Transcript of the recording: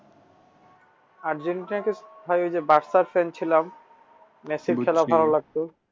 আর্জেন্টিনাকে ভাই ওইযে fan ছিলাম মেসির খেলা ভালো লাগতো।